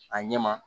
A ɲɛ ma